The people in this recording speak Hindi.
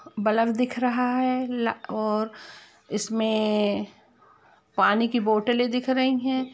बल्ब दिख रहा है ला_और इसमें पानी की बोत्तले दिख रही है।